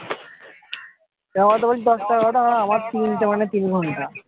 কেনো বলতো বলছি দশটা এগারটা আমর তিনটে মানে তিন ঘন্টা